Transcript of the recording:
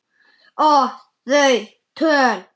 Og þau töl